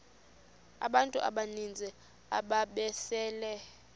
abantu abaninzi ababesele